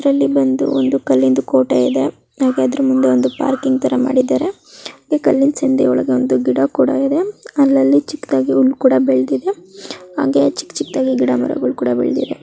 ಇದ್ರಲ್ಲಿ ಬಂದು ಕಲ್ಲಿನ ಕೋಟೆ ಇದೆ ಹಾಗಾದ್ರೆ ಮುಂದೆ ಒಂದು ಪಾರ್ಕಿಂಗ್ ಥರಾ ಮಾಡಿದ್ದಾರೆ ಕಲ್ಲಿನ ಸಂದಿ ಒಳಗೆ ಒಂದು ಗಿಡಕುಡಾಯಿದೆ ಅಲ್ಲಲ್ಲಿ ಚಿಕ್ಕದಾಗಿ ಹುಲ್ಲು ಕೂಡಾ ಬೆಳೆದಿದೆ ಹಾಂಗೆ ಚಿಕ್ ಚಿಕ್ ದಾಗಿ ಗಿಡ ಮರಗಳು ಕೂಡಾ ಬೆಳೆದಿವೆ.